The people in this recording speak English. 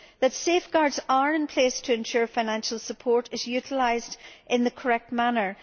that safeguards are in place to ensure financial support is utilised in the correct manner